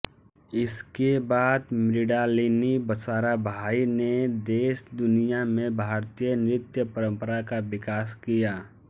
इसके बाद मृणालिनी साराभाई ने देश दुनिया में भारतीय नृत्य परंपरा का विकास किया